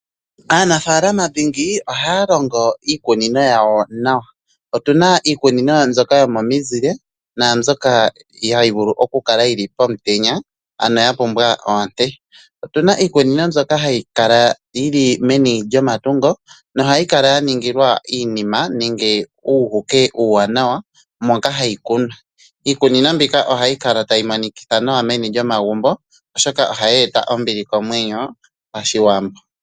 Aanafaalama dhingi ohaya longo iikunino yawo nawa. Otuna iikunino mbyoka yomomizile naambyoka hayi vulu oku kala yili pomutenya, ano ya pumbwa oonte. Otuna iikunino mbyono hayi kala yili meni lyomatungo nohayi kala ya ningilwa iinima nenge uuhuke uuwaanawa moka hayi kunwa. Iikunino mbika ohayi kala tayi monikitha meni lyomagumbo, oshoka ohayi e ta ombili oomwenyo pashiwambo.